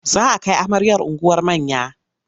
Za a kai amaryar unguwar manya.